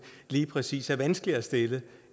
lige præcis er vanskeligere stillet